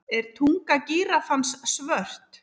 Já, ég veit.